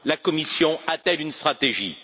La Commission a t elle une stratégie?